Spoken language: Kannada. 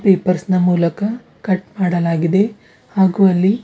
ಪೇಪರ್ನ ಮೂಲಕ ಕಟ್ ಮಾಡಲಾಗಿದೆ ಹಾಗೂ ಅಲ್ಲಿ.